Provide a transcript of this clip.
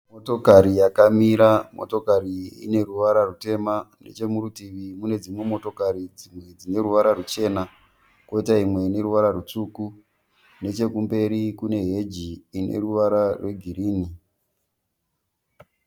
Motokari yakamira. Motokari iyi ineruvara rwutema. Nechomurutivi mune dzimwe motokari dzineruvara ruchena, koita imwe ine ruvara rutsvuku. Nechekumberi kune heji ineruvara rwegirinhi.